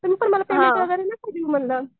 तुम्ही पण मला पेमेंट वगैरे नको देऊ म्हणलं.